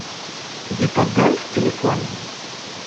витадент телефон